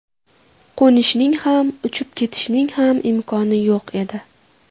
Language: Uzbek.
Qo‘nishning ham, uchib ketishning ham imkoni yo‘q edi.